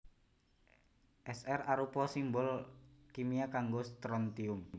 Sr arupa simbol kimia kanggo Strontium